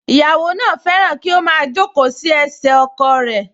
Ìyàwó náà fẹ́ràn kí ó máa jókòó sí ẹsẹ̀ ọkọ̀ ẹ̀